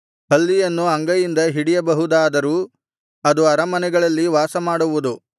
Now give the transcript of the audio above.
ಹಲ್ಲಿಯನ್ನು ಅಂಗೈಯಿಂದ ಹಿಡಿಯಬಹುದಾದರೂ ಅದು ಅರಮನೆಗಳಲ್ಲಿ ವಾಸಮಾಡುವುದು